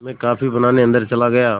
मैं कॉफ़ी बनाने अन्दर चला गया